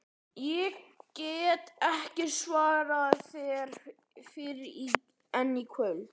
Ég get ekki svarað þér fyrr en í kvöld